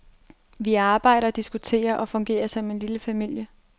Vi arbejder, diskuterer og fungerer som en lille familie.